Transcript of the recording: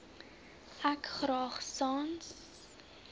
ek graag sans